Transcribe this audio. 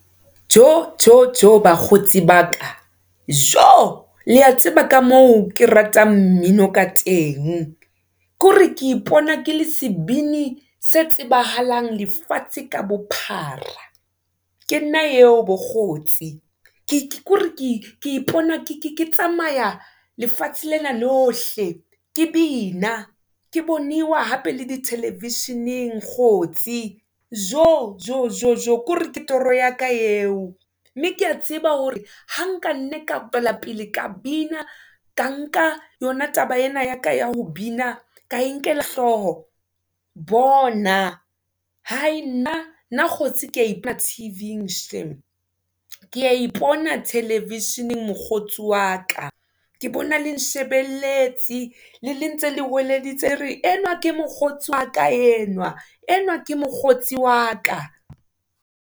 Jo! Jo! Jo! bakgotsi ba ka Jo! Le ya tseba ka moo ke ratang mmino ka teng. Kore ke ipona ke le sebini se tsebahalang lefatshe ka bophara, ke nna eo bo kgotsi kore ke ipona ke tsamaya lefatshe lena lohle. Ke bina ke boniwa hape le di-television-eng kgotsi. Jo! Jo! Jo! Jo! Kore ke toro ya ka eo, mme kea tseba hore ha nka nne ka tswela pele ka bina, ka nka yona taba ena ya ka ya ho bina ka e nkela hlooho bona nna kgotsi ke a T_V-ng shame. Ke a ipona television-eng mokgotsi wa ka, ke bona le nshebelletse le ntse le hweleditse le re enwa ke mokgotsi wa ka enwa, enwa ke mokgotsi wa ka.